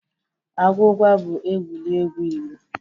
Agwụgwa bụ egwuregwu Igbo.